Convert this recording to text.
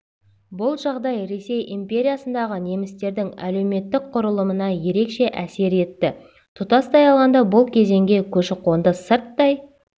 бұл жағдай ресей империясындағы немістердің әлеуметтік құрылымына ерекше әсер етті тұтастай алғанда бұл кезеңге көшіқонды сырттай